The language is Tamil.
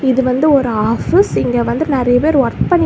இது வந்து ஒரு ஆபீஸ் இங்க வந்து நறைய பேரு வொர்க் பண்ணிட்டு.